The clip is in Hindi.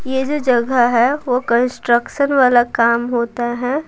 ये जो जगह है वो कंस्ट्रक्शन वाला काम होता है।